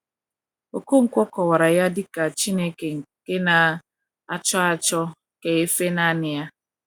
Okonkwo kọwara ya dị ka “ Chineke nke na - achọ achọ ka e fee nanị Ya. ”